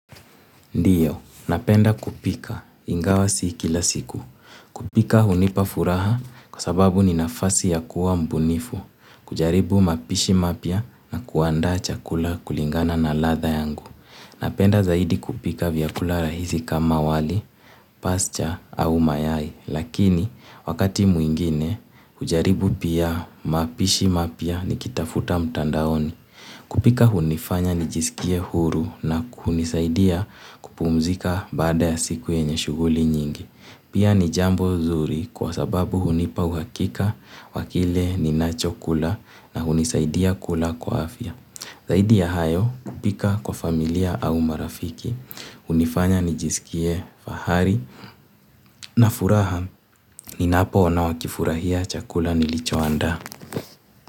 Ndiyo, napenda kupika ingawa si kila siku. Kupika hunipa furaha kwa sababu ninafasi ya kuwa mbunifu, kujaribu mapishi mapya na kuanda chakula kulingana na latha yangu. Napenda zaidi kupika vyakula rahisi kama wali, pasicha au mayai. Lakini, wakati mwingine, hujaribu pia mapishi mapya nikitafuta mtandaoni. Kupika hunifanya nijisikie huru na kunisaidia kupumzika baada ya siku yenye shuguli nyingi. Pia ni jambo zuri kwa sababu hunipa uhakika wa kile ninachokula na hunisaidia kula kwa afya. Zaidi ya hayo kupika kwa familia au marafiki, hunifanya nijisikie fahari na furaha ni napo ona wakifurahia chakula nilicho anda.